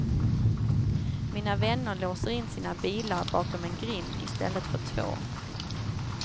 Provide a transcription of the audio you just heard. Mina vänner låser in sina bilar bakom en grind i stället för två.